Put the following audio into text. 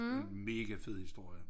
Det en mega fed historie